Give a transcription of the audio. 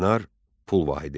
Dinar pul vahidi.